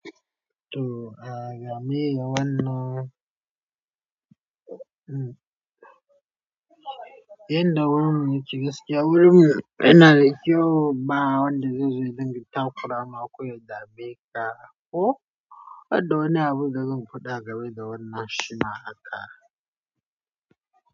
To, a game da wannan, mm, inda wuri mu yake gaskiya wuri mu yana da kyau ba wanda zai zo ya dinga ta ƙurama ko ya dame ka ko, banda wani abun da zan faɗa a game da wannan shi ma haka.